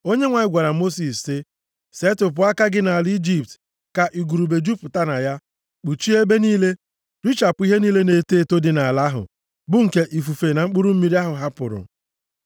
Onyenwe anyị gwara Mosis sị, “Setịpụ aka gị nʼala Ijipt ka igurube jupụta na ya, kpuchie ebe niile, richapụ ihe niile na-eto eto dị nʼala ahụ bụ nke ifufe na mkpụrụ mmiri ahụ hapụrụ.”